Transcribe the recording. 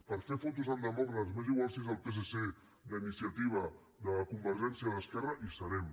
per fer fotos amb demòcrates m’és igual si és el psc d’iniciativa de convergència d’esquerra hi serem